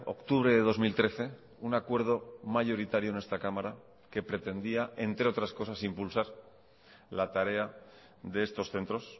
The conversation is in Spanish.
octubre de dos mil trece un acuerdo mayoritario en esta cámara que pretendía entre otras cosas impulsar la tarea de estos centros